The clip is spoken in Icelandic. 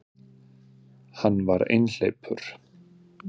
Hann var einhleypur.